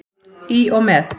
Í og með.